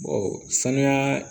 sanuya